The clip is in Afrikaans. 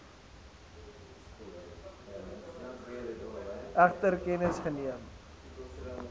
egter kennis geneem